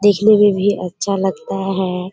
देखने में भी अच्छा लगता है।